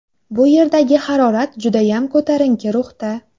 Bu yerdagi harorat judayam ko‘tarinki ruhda.